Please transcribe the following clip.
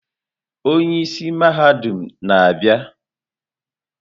Onye isi mahadum na-abịa.